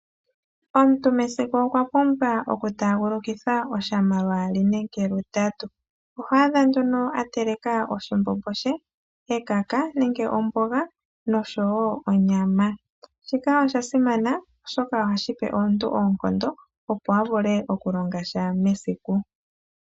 Omuntu mesiku okwa pumbwa oku taagulukitha oshama lwaali nenge lu tatu. Oho adha a teleka oshimbombo she, ekaka nenge omboga nosho wo onyama. Shika osha simana oshoka ohashi pe omuntu oonkondo opo a vule okulonga sha mesiku.